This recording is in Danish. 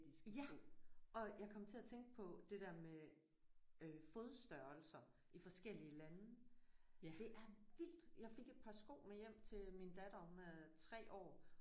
Ja og jeg kom til at tænke på det der med øh fodstørrelser i forskellige lande. Det er vildt jeg fik et par sko med hjem til min datter hun er 3 år